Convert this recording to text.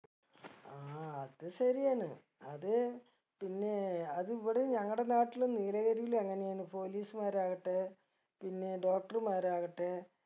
ആ അത് ശരിയാണ് അത് പിന്നെ അത് ഇവിടേം ഞങ്ങടെ നാട്ടിലും നീലഗിരിലും അങ്ങനെയാണ് police മാര് ആകട്ടെ പിന്നെ doctor മാര് ആകട്ടെ